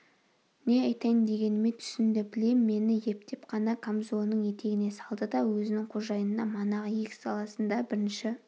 не айтайын дегеніме түсінді білем мені ептеп қана камзолының етегіне салды да өзінің қожайынына манағы егіс даласында бірінші